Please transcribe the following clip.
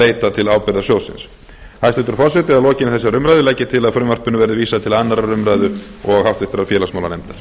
leita til ábyrgðasjóðsins hæstvirtur forseti að lokinni þessari umræðu legg ég til að frumvarpinu verði vísað til annarrar umræðu og háttvirtur félagsmálanefndar